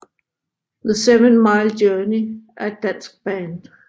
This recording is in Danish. The Seven Mile Journey er et dansk band